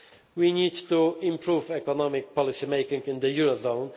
itself. We need to improve economic policy making in the